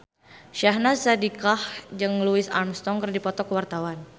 Syahnaz Sadiqah jeung Louis Armstrong keur dipoto ku wartawan